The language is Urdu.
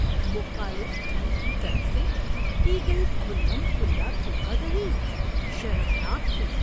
مخالف ٹیم کی طرف سے کی گئی کھلم کھلا دھوکہ دہی شرمناک تھی۔